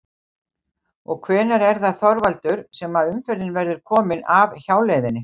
Og hvenær er það Þorvaldur sem að umferðin verður komin af hjáleiðinni?